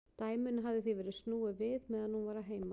Dæminu hafði því verið snúið við meðan hún var að heiman.